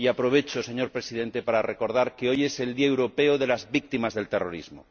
Y aprovecho, señor Presidente, para recordar que hoy es el Día Europeo de las Víctimas del Terrorismo.